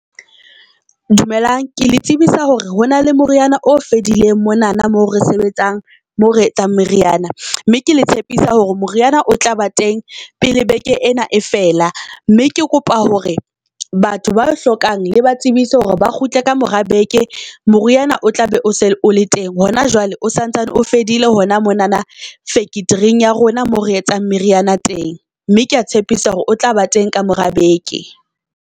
Dumelang ke le tsebisa hore ho na le moriana o fedileng monana mo re sebetsang moo re etsang meriana. Mme ke le tshepisa hore moriana o tlaba teng pele beke ena e fela mme ke kopa hore batho ba hlokang le ba tsebise hore ba kgutle ka mora beke moriana o tla be o se o le teng. Hona jwale o santsane o fedile hona monana factory-eng ya rona mo re etsang meriana teng. Mme kea tshepisa hore o tlaba teng ka mora beke.